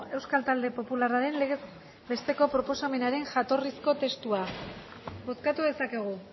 euskal talde popularraren legez besteko proposamenaren jatorrizko testua bozkatu dezakegu